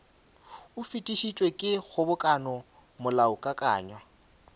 o fetišitšwe ke kgobokano molaokakanywa